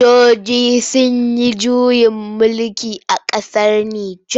Sojoji sun yi juyin mulki a ƙasar Nijar.